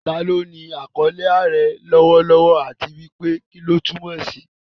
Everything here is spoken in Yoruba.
Ta ló ní àkọlé "Aare" lọ́wọ́lọ́wọ́, àti pé kí ni ó túmọ̀ sí?